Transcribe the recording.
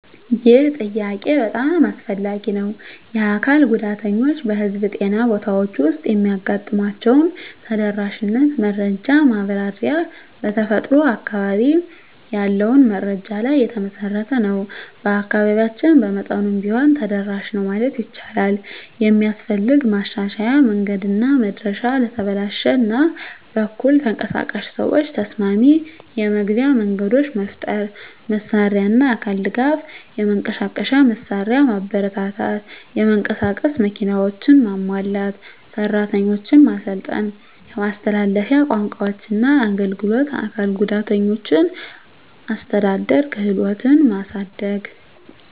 ይህ ጥያቄ በጣም አስፈላጊ ነው። የአካል ጉዳተኞች በህዝብ ጤና ቦታዎች ውስጥ የሚያጋጥሟቸውን ተደራሽነት መረጃ ማብራሪያ በተፈጥሮ በአካባቢ ያለውን መረጃ ላይ የተመሠረተ ነው። በአካባቢያችን በመጠኑም ቢሆን ተደራሽ ነው ማለት ይቻላል። የሚስፈልግ ማሻሻያ መንገድና መድረሻ ለተበላሽ እና በኩል ተንቀሳቃሽ ሰዎች ተስማሚ የመግቢያ መንገዶች መፍጠር። መሳሪያና አካል ድጋፍ የመንቀሳቀሻ መሳሪያ ማበረታታት (የመንቀሳቀስ መኪናዎች) ማሟላት። ሰራተኞች ማሰልጠን የማስተላለፊያ ቋንቋዎችና አገልግሎት አካል ጉዳተኞችን አስተዳደር ክህሎትን ማሳደግ።